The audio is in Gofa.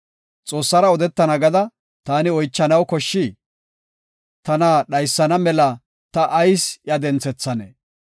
Xoossara odetana gada taani oychanaw koshshii? tana dhaysana mela ta ayis iya denthethanee?